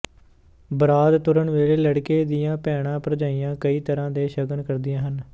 ਬਰਾਤ ਤੁਰਨ ਵੇਲੇ ਲੜਕੇ ਦੀਆਂ ਭੈਣਾਂ ਭਰਜਾਈਆਂ ਕਈ ਤਰ੍ਹਾਂ ਦੇ ਸ਼ਗਨ ਕਰਦੀਆਂ ਹਨ